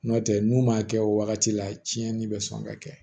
N'o tɛ n'u m'a kɛ o wagati la tiɲɛni bɛ sɔn ka kɛ